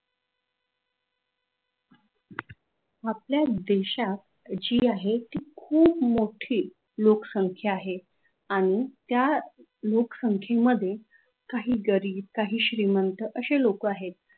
आपल्या देशात जी आहे ती खूप मोठी लोकसंख्या आहे आनि त्या लोकसंख्येमध्ये काही गरीब काही श्रीमंत अशे लोक आहेत.